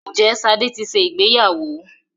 Ǹjẹ́ Ṣadé ti ṣe ìgbéyàwó?